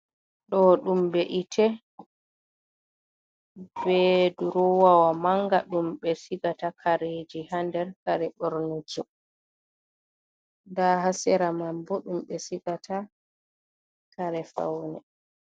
Ɗo ɗum be'itte be durowawa mannga ɗum ɓe sigata kareji haa nder kare borniki. Ndaa haa sera man bo, ɗum ɓe sigata kare fawne.